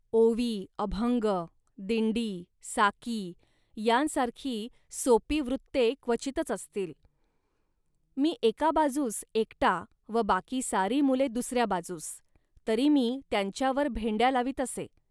ओवी, अभंग, दिंडी, साकी, यांसारखी सोपी वृत्ते क्वचितच असतील. मी एका बाजूस एकटा व बाकी सारी मुले दुसऱ्या बाजूस, तरी मी त्यांच्यावर भेंड्या लावीत असे